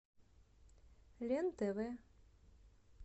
лен тв